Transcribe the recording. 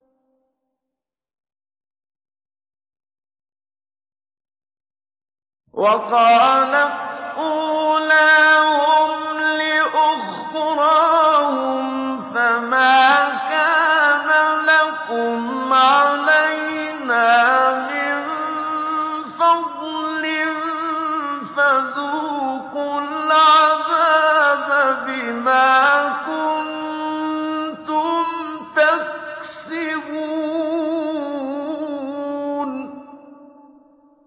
وَقَالَتْ أُولَاهُمْ لِأُخْرَاهُمْ فَمَا كَانَ لَكُمْ عَلَيْنَا مِن فَضْلٍ فَذُوقُوا الْعَذَابَ بِمَا كُنتُمْ تَكْسِبُونَ